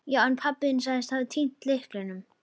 Já, en pabbi þinn sagðist hafa týnt lyklinum.